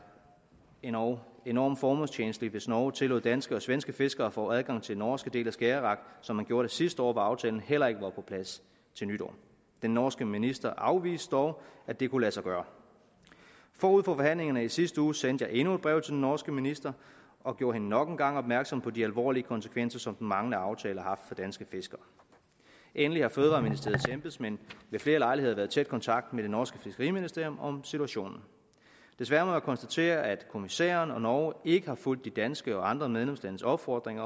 endog enormt formålstjenligt hvis norge tillod danske og svenske fiskere at få adgang til den norske del af skagerrak som man gjorde det sidste år hvor aftalen heller ikke var på plads til nytår den norske minister afviste dog at det kunne lade sig gøre forud for forhandlingerne i sidste uge sendte jeg endnu et brev til den norske minister og gjorde hende nok en gang opmærksom på de alvorlige konsekvenser som den manglende aftale har haft for danske fiskere endelig har fødevareministeriets embedsmænd ved flere lejligheder været i tæt kontakt med det norske fiskeriministerium om situationen desværre må jeg konstatere at kommissæren og norge ikke har fulgt den danske og de andre medlemslandes opfordring